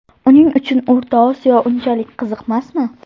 Uning uchun O‘rta Osiyo unchalik qiziqmasmi?